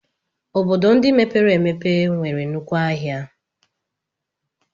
Obodo ndị mepere emepe nwere nnukwu ahịa.